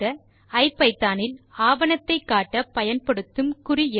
ஐபிதான் இல் ஆவணத்தை காட்ட பயன்படுத்தப்படும் குறி எது